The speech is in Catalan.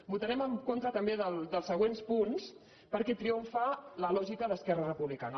voltarem en contra també dels següents punts perquè triomfa la lògica d’esquerra republicana